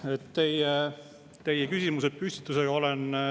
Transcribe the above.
Ma olen täiesti nõus teie küsimusepüstitusega.